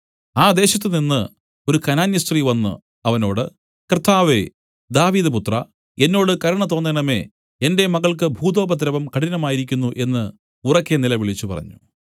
ആ ദേശത്തുനിന്ന് ഒരു കനാന്യസ്ത്രീ വന്നു അവനോട് കർത്താവേ ദാവീദ് പുത്രാ എന്നോട് കരുണ തോന്നേണമേ എന്റെ മകൾക്കു ഭൂതോപദ്രവം കഠിനമായിരിക്കുന്നു എന്നു ഉറക്കെ നിലവിളിച്ചുപറഞ്ഞു